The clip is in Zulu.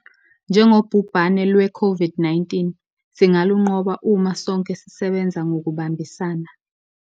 Njengobhubhane lweCOVID-19 singalunqoba uma sonke sisebenza ngokubambisana.